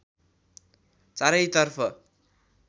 चारैतर्फ